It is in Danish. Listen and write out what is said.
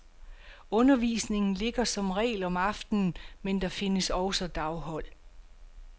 Undervisningen ligger som regel om aftenen, men der findes også daghold.